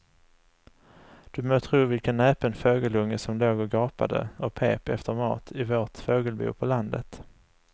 Du må tro vilken näpen fågelunge som låg och gapade och pep efter mat i vårt fågelbo på landet.